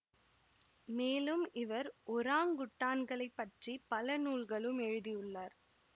மேலும் இவர் ஒராங்குட்டான்களைப் பற்றி பல நூல்களும் எழுதியுள்ளார்